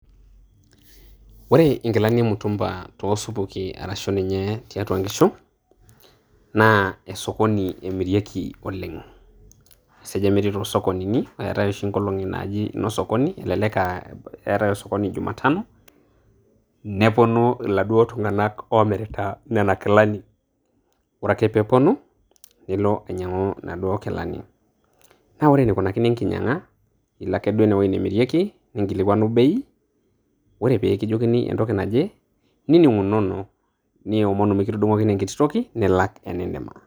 Ore inkilani e mitumba too supuki arashu tiatua inkishu, naa esokoni emirieki oleng'. Eseja metii sokonini eatai oshi inkolong'i naaji ine sokoni elelek eatai sokoni enkolong' e jumatano nepuonu laduo tung'anak oomirita inkilani. Ore ake pee epuonu, nilo anyang'u naduo kilani. Naa ore eneikunakini enkinyang'a ilo ake duo ine nemirieki, ninkilikuanu bei ore pee kijokini entoki naje nining'unono niomonu naa mikitudung'okini enkiti toki nilak enindima.